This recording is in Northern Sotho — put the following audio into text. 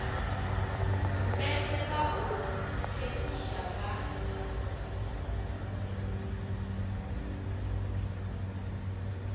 mpete ba o thethiša ba